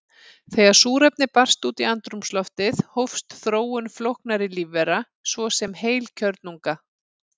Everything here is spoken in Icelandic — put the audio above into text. Þegar súrefni barst út í andrúmsloftið hófst þróun flóknara lífvera, svo sem heilkjörnunga.